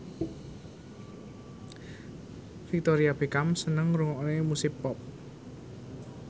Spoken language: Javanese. Victoria Beckham seneng ngrungokne musik pop